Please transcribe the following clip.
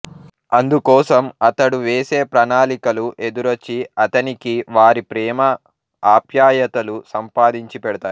అందుకోసం అతడు వేసే ప్రణాళికలు ఎదురొచ్చి అతనికి వారి ప్రేమ ఆప్యాయతలు సంపాదించి పెడతాయి